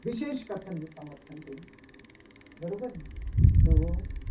વિશેષ કથાનું સમર્થન કર્યું. બરાબરને